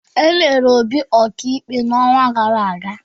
E mere Obi ọka ikpe n'ọnwa gara aga.